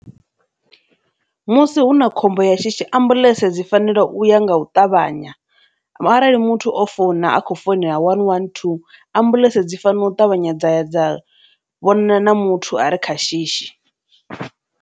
Musi hu na khombo ya shishi ambuḽentse dzi fanela u ya nga u ṱavhanya, arali muthu o founa a khou founela one one two ambuḽentse dzi fanela u ṱavhanya dzaya dza vhonana na muthu a re kha shishi.